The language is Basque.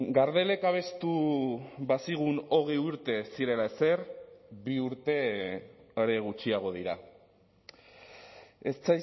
gardelek abestu bazigun hogei urte ez zirela ezer bi urte are gutxiago dira ez